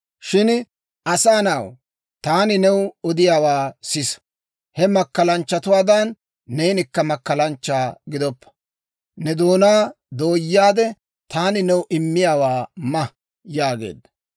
«Shin, asaa na'aw, taani new odiyaawaa sisa! He makkalanchchatuwaadan, neenikka makkalanchcha gidoppa; ne doonaa dooyaade, taani new immiyaawaa ma» yaageedda.